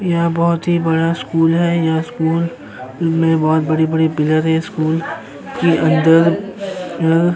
यहाँ बहोत ही बड़ा स्कूल है। यहाँ स्कूल में बहोत बड़ी-बड़ी पिलर है। स्कूल की अंदर अ --